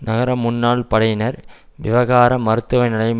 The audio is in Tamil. நகர முன்னாள் படையினர் விவகார மருத்துவ நிலையம்